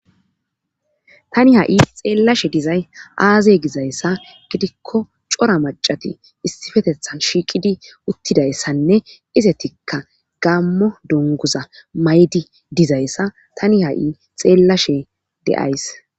Tani ha'i xeellashe dizay aazey gizayssa gidikko cora macati issifetethan shiiqidi uttidayssanne izetikka gaammo dongguza mayidi dizayssa tani ha'i xeellashe de'as.